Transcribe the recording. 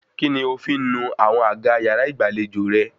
Kíni o fi ń nu àwọn àga yàrá ìgbàlejò rẹ?